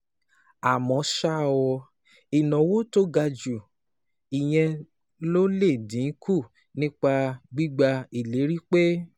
Àmọ́ ṣá o, ìnáwó tó ga ju ìyẹn lọ lè dín kù nípa gbígba ìlérí pé